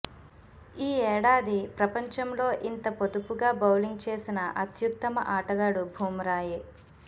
ఈ ఏడాది ప్రపంచంలో ఇంత పొదుపుగా బౌలింగ్ చేసిన అత్యుత్తమ ఆటగాడు బుమ్రాయే